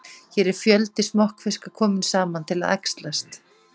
Hér er fjöldi smokkfiska kominn saman til að æxlast.